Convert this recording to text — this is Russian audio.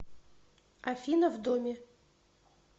афина в доме